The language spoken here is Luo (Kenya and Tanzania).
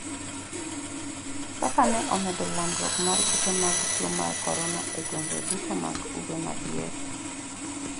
kaka ne omedo landruok mar kute mag tuo mar korona e gwenge duto mag ugwe ma diere